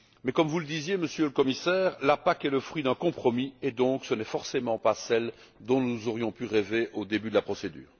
Comme vous le disiez, Monsieur le Commissaire, la PAC est le fruit d'un compromis et ce n'est donc pas forcément celle dont nous aurions pu rêver au début de la procédure.